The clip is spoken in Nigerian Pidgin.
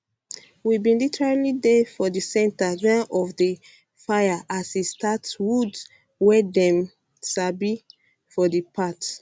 we bin literally bin dey for di centre ghan of di fire as e start woods wey dem um sabi um for di part